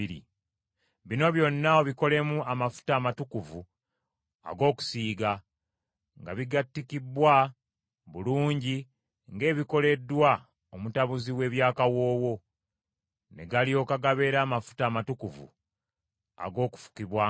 Bino byonna obikolemu amafuta amatukuvu ag’okusiiga, nga bigattikibbwa bulungi ng’ebikoleddwa omutabuzi w’eby’akawoowo, ne galyoka gabeera amafuta amatukuvu ag’okufukibwangako.